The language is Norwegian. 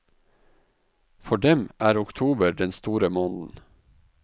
For dem er oktober den store måneden.